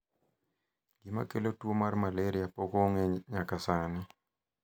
gima kelo tuo mar maleria pok ong'e nyaka sani